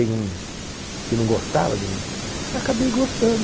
que não gostava de, eu acabei gostando.